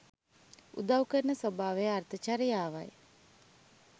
උදව් කරන ස්වභාවය අර්ථ චරියාවයි.